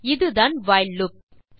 சரி இதுதான் while loop